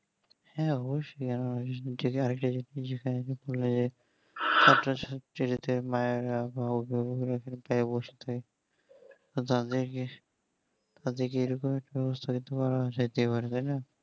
হ্যাঁ অবশ্যই আর একটা জিনিস যেকানে যদি ভুলে যাই সেটাতেই মায়েরা ও বোনেরা ব্যাবস্থায় অত্যান্ত কি তাদের কে একই ব্যাবস্তা নিতে বলে কি নিতে পারবে না